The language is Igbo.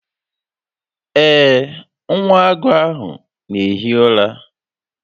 Ee, nwa agụ ahụ n'ehi ụra